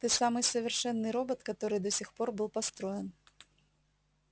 ты самый совершенный робот который до сих пор был построен